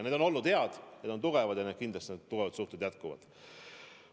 Need on olnud head ja tugevad ja kindlasti need tugevad suhted jätkuvad.